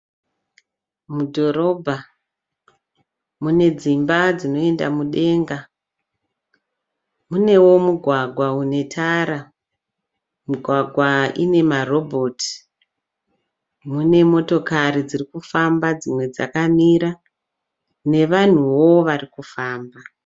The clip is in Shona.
Mudhorobha mune dzimba dzinoenda mudenga. Munewo mugwagwa unetara. Migwagwa ine marobhoti. Mune motokari dziri kufamba dzimwe dzakamira nevanhuwo varikufamba.